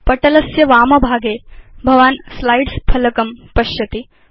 पटलस्य वामभागे भवान् स्लाइड्स् फलकं पश्यति